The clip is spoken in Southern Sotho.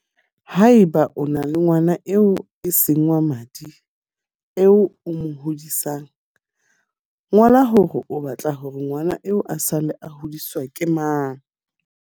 Haeba o na le ngwana eo e seng wa madi eo o mo hodisang, ngola hore o ba tla hore ngwana eo a sale a hodiswa ke mang.